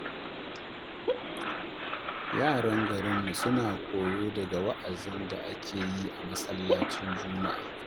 Yaran garinmu suna koyo daga wa’azin da ake yi a masallacin Juma’a.